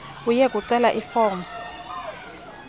uye kucela ifomu